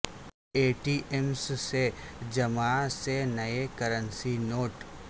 اے T Ms میں جمعہ سے نئے کرنسی نوٹ